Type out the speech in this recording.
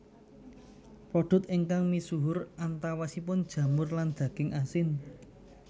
Produk ingkang misuhur antawisipun jamur lan daging asin